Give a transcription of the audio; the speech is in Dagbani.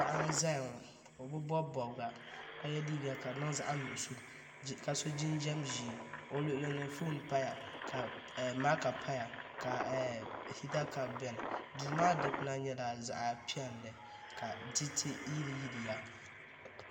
Paɣa n ʒɛya ŋo o bi bobi bobga ka yɛ liiga ka di niŋ zaɣ nuɣso ka so jinjɛm ʒiɛ o luɣulini foon paya ka maaka paya ka hita kaap biɛni duu maa dikpuna nyɛla zaɣ piɛlli ka diriti yiliyiliya